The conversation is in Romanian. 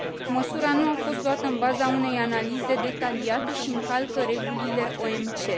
Măsura nu a fost luată în baza unei analize detaliate și încalcă regulile OMC.